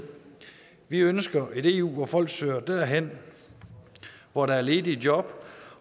vi ønsker et eu hvor folk søger derhen hvor der er ledige job